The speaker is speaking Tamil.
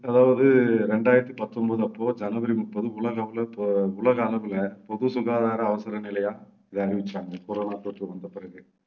அதாவது ரெண்டாயிரத்தி பத்தொன்பது அப்போ ஜனவரி முப்பது உலக அளவுல இப்போ உலக அளவுல பொது சுகாதாரம் அவசர நிலையா இதை அறிவிச்சாங்க corona தொற்று வந்தபிறகு